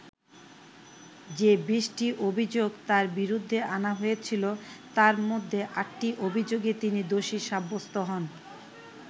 যে বিশটি অভিযোগ তাঁর বিরুদ্ধে আনা হয়েছিল, তার মধ্যে আটটি অভিযোগে তিনি দোষী সাব্যস্ত হন।